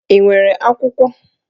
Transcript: Ị nwere akwụkwọ?